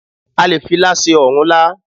A lè fi ilá ṣe ọ̀rúnlá